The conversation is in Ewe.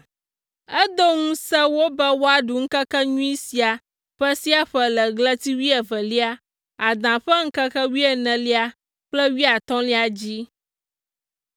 Edo ŋusẽ wo be woaɖu ŋkekenyui sia ƒe sia ƒe le ɣleti wuievelia, Ada ƒe ŋkeke wuienelia kple wuiatɔ̃lia dzi.